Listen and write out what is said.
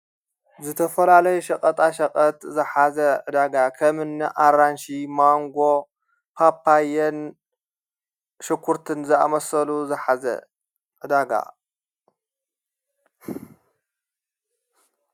ዝተፈላለይ ሸቐጣ ሸቐት ዘሓዘ ዳጋ ኸምን ኣራንሽ ማንጎ ጳጳየን ሽኲርትን ዘኣመሠሉ ዘሓዘ::